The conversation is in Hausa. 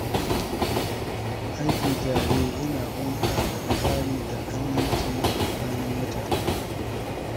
Aiki tare yana bunƙasa tsari da aminci a tsakanin mutane.